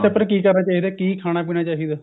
ਪਰ ਕਿ ਕਰਨਾ ਚਾਹਿਦਾ ਕਿ ਖਾਣਾ ਪੀਣਾ ਚਾਹਿਦਾ